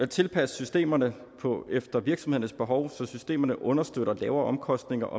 tilpasse systemerne efter virksomhedernes behov så systemerne understøtter lavere omkostninger